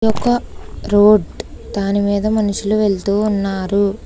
ఒక రోడ్ దాని మీద మనుషులు వెళ్తూ ఉన్నారు.